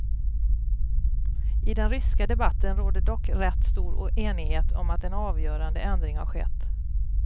I den ryska debatten råder dock rätt stor enighet om att en avgörande ändring har skett.